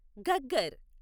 Ghaggar